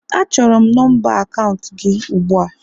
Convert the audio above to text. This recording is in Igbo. Achọrọ m nọmba akaụntụ gi ugbu a!